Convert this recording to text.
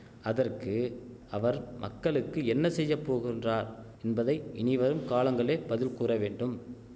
அதற்கு அவர் மக்களுக்கு என்ன செய்ய போகுன்றார் என்பதை இனிவரும் காலங்களே பதில் கூறவேண்டும்